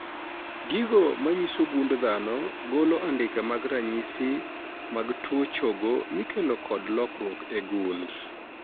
Gigo manyiso gund dhano golo andike mag ranyisi mag tuo chogo mikelo kod lokruok e gund